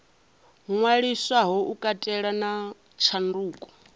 ṅwaliswaho u katela na tshanduko